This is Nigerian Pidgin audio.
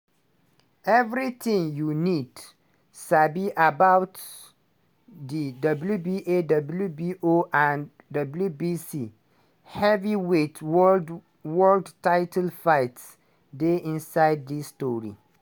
evritin you need sabi about di wba wbo and wbc heavyweight world title fight dey inside dis tori.